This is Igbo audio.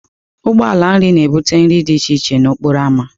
Ụgbọ ala nri na-ebute nri dị iche iche n'okporo ámá.